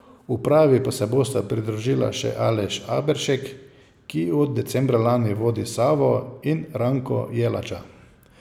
Upravi pa se bosta pridružila še Aleš Aberšek, ki od decembra lani vodi Savo, in Ranko Jelača.